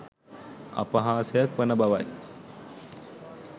අපහාසයක් වන බවයි